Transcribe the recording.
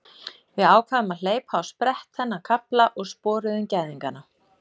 Við ákváðum að hleypa á sprett þennan kafla og sporuðum gæðingana.